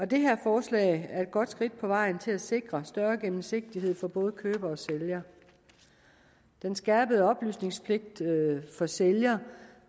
det her forslag er et godt skridt på vejen til at sikre større gennemsigtighed for både køber og sælger den skærpede oplysningspligt for sælger